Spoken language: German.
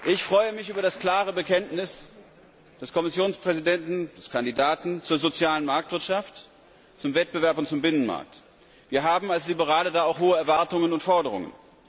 Ich freue mich über das klare Bekenntnis des Kommissionspräsidenten des Kandidaten zur sozialen Marktwirtschaft, zum Wettbewerb und zum Binnenmarkt. Wir als Liberale haben da auch hohe Erwartungen und Forderungen.